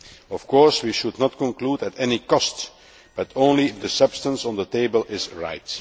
Of course, we should not conclude an agreement at any cost but only if the substance on the table is right.